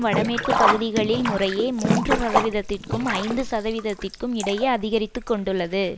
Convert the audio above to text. வடமேற்கு பகுதிகளில் முறையே மூன்று சதவீதத்திற்கும் ஐந்து சத வீதத்திற்கும் இடையே அதிகரித்து கொண்டுள்ளது